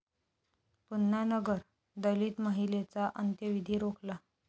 पुन्हा नगर, दलित महिलेचा अंत्यविधी रोखला!